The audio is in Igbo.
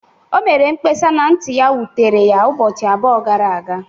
O mere mkpesa na nti ya wutere ya ụbọchị abụọ gara aga